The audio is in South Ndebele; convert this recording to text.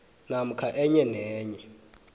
namkha enye nenye